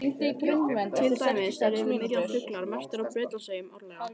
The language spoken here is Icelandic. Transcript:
Til dæmis eru yfir milljón fuglar merktir á Bretlandseyjum árlega.